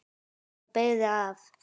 Hann beygði af.